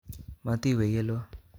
Motiwe yelo